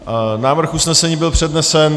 Návrh usnesení byl přednesen.